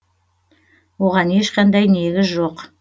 оған ешқандай негіз жоқ